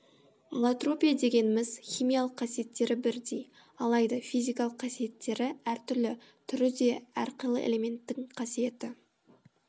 аллотропия дегеніміз химиялық қасиеттері бірдей алайда физикалық қасиеттері әр түрлі түрі де әрқилы элементтің қасиеті